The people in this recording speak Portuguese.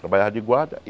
Trabalhava de guarda e.